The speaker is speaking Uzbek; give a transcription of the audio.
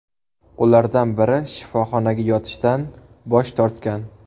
Ulardan biri shifoxonaga yotishdan bosh tortgan.